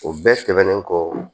O bɛɛ tɛmɛnen kɔ